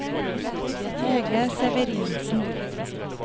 Hege Severinsen